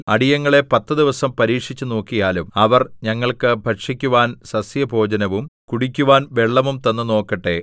അടിയങ്ങളെ പത്തു ദിവസം പരീക്ഷിച്ചുനോക്കിയാലും അവർ ഞങ്ങൾക്കു ഭക്ഷിക്കുവാൻ സസ്യഭോജനവും കുടിക്കുവാൻ വെള്ളവും തന്നു നോക്കട്ടെ